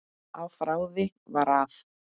Afráðið var að